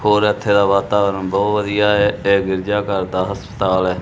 ਹੋਰ ਏੱਥੇ ਦਾ ਵਾਤਾਵਰਣ ਬਹੁਤ ਵਧੀਆ ਹੈ ਇਹ ਗਿਰਜਾਘਰ ਦਾ ਹਸਪਤਾਲ ਹੈ।